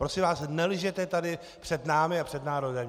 Prosím vás, nelžete tady před námi a před národem.